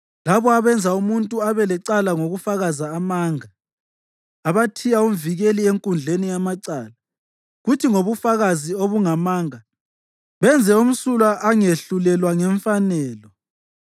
labo abenza umuntu abe lecala ngokufakaza amanga, abathiya umvikeli enkundleni yamacala, kuthi ngobufakazi obungamanga benze omsulwa angehlulelwa ngemfanelo.